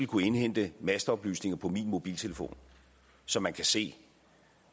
kunne indhente masteoplysninger på min mobiltelefon så man kan se